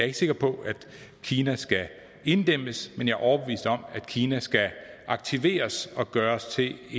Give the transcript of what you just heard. ikke sikker på at kina skal inddæmmes men jeg er overbevist om at kina skal aktiveres og gøres til